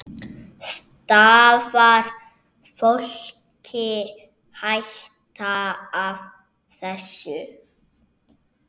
Stafar fólki hætta af þessu?